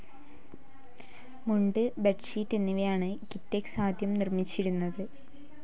മുണ്ട്, ബെഡ്ഷീറ്റ് എന്നിവയാണ് കിറ്റെക്സ് ആദ്യം നിർമിച്ചിരുന്നത്.